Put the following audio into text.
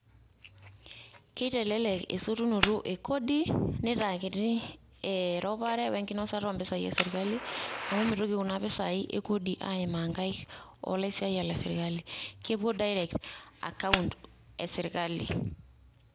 Kitelelek esotunoto ekodi nitaa kiti eropare we nkinosata o mpisai esirkali, amu mitoki kuna pisai ekodi aimaa nkaik o laisiayiak le sirkali. Kepuo direct account esirkali.